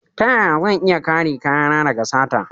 Ta yaya zan iya kare kayana daga sata?